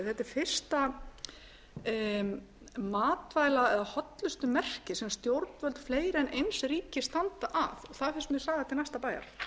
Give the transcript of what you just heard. er fyrsta matvæla eða hollustumerki sem stjórnvöld fleiri en eins ríkis standa að og það er þess vegna saga til næsta bæjar